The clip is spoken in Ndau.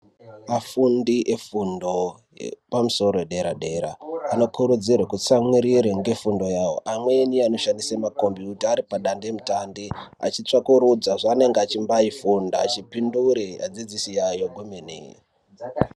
Vafundi vefundo yepamusoro , dera dera anokurudzirwa kutsamwirira nefundo yavo amweni anoshandisa ma kompiyuta ari padandemutande achitsvagurudza zvaanenge achifunda kuti vapindure vadzidzisi vavo kwemene.